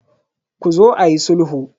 Ku zo ayi sulhu.